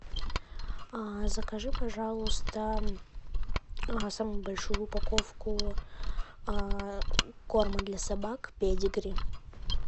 закажи пожалуйста самую большую упаковку корма для собак педигри